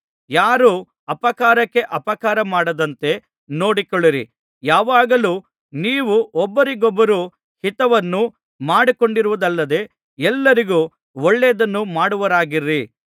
ಯಾರೂ ಅಪಕಾರಕ್ಕೆ ಅಪಕಾರಮಾಡದಂತೆ ನೋಡಿಕೊಳ್ಳಿರಿ ಯಾವಾಗಲೂ ನೀವು ಒಬ್ಬರಿಗೊಬ್ಬರು ಹಿತವನ್ನು ಮಾಡಿಕೊಂಡಿರುವುದಲ್ಲದೆ ಎಲ್ಲರಿಗೂ ಒಳ್ಳೆಯದನ್ನು ಮಾಡುವವರಾಗಿರಿ